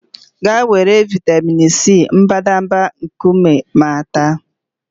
Gaa were vịatamin C mbadamba nkume ma ta!